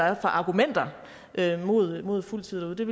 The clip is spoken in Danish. er for argumenter mod fuldtid det